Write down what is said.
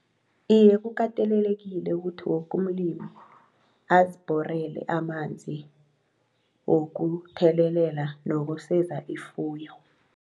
Iye kukatelelekile ukuthi wokumlimu azibhorele amanzi wokuthelelela nokuseza ifuyo.